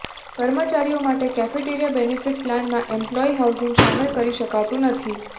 કર્મચારીઓ માટે cafeteria benefit પ્લાનમાં એમ્પ્લોયી હાઉસિંગ શામેલ કરી શકાતું નથી